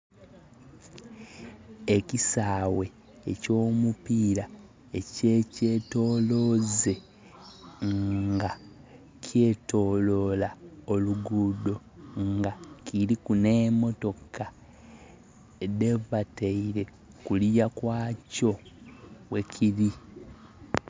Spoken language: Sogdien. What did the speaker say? Ekisaghe ekyo mupira ekye kyentoloze nga kye tololwa olugudho nga kiliku nhe motoka dhebateire kulya kwakyo ghekili.